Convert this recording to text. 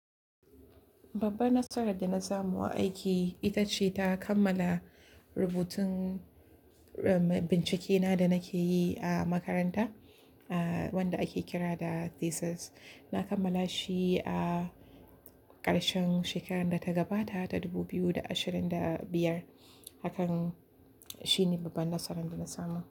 Babban nasarar da na samu a aiki ita ce ta kammala rubutun, um, bincike na da nake yi a makaranta, ah, wanda ake kira da thesis. Na kammala shi a ƙarshen shekarar da ta gabata ta 2025. Hakan shine babban nasarar da na samu.